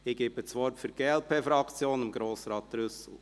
Ich gebe das Wort für die glp-Fraktion Grossrat Trüssel.